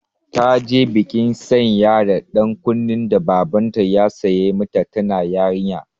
Ta ji bikin sanya da ɗan kunnen da Babanta ya sai mata tana yarinya.